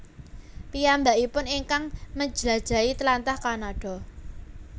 Piyambakipun ingkang manjlajahi tlatah Kanada